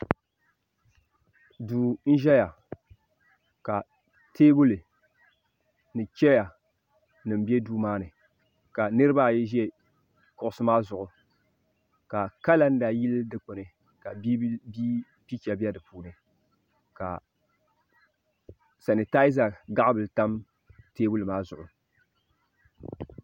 Duu n ʒɛya ka teebuli cheya nima be duu maani ka niriba ayi be kuɣusi maa zuɣu ka kalanda yili dikpini ka bibila picha be dipuuni ka sani taaza bili tam teebuli maa zuɣu.